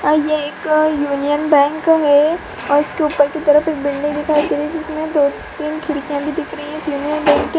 एक union bank है और इसके ऊपर के तरफ एक बिल्डिंग दिखाई दे री हे जिसमे दो-तीन खिड़किया भी दिख रही है --